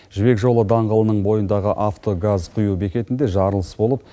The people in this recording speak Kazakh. жібек жолы даңғылының бойындағы авто газ құю бекетінде жарылыс болып